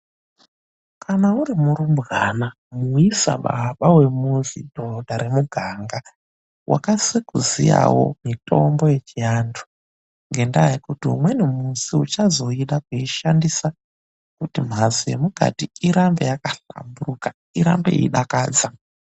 KANA URIMURUMBWANA MUISA BABA WEMUZI, DHODHA REMUMUGANGA WAKASE KUZIYAWO MITOMBO YECHIANHU NGENDAA YEKUTI UMWENI MUSI UCHAZODA KUISHANDISA KUTI MHATSO YEMUKATI IRAMBE YAKAHLAMBURUKA IRAMBE YEIDAKADZA.